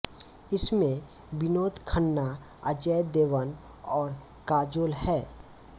इसमें विनोद खन्ना अजय देवगन और काजोल हैं